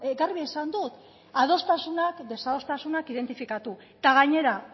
garbi esan dut adostasunak desadostasunak identifikatu eta gainera